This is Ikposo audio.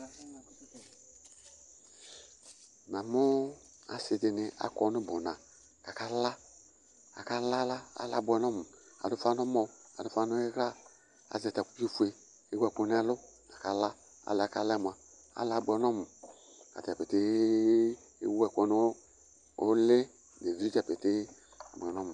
Namʋ asɩ dɩnɩ akɔ nʋ ʋbʋna kʋ akala Akala la, ala yɛ abʋɛ nʋ ɔmʋ Adʋ ʋfa nʋ ɔmɔ, adʋ ʋfa nʋ ɩɣla, azɛ takuvifue kʋ ewu ɛkʋ nʋ ɛlʋ la kʋ akala Ala yɛ akala mʋa, ala yɛ abʋɛ nʋ ɔmʋ Ata dza petee ewu ɛkʋ nʋ ʋlɩ nʋ evi dza petee Abʋɛ nʋ ɔmʋ